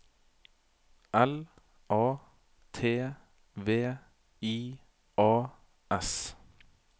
L A T V I A S